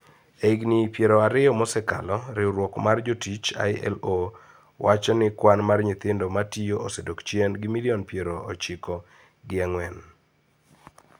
E higini piero ariyo mosekalo, riwruok mar jotich ILO, wacho ni kwan mar nyithindo matiyo osedok chien gi milion pier ochiko gi ang`wen